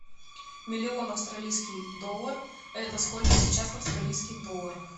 миллион австралийский доллар это сколько сейчас в австралийских долларах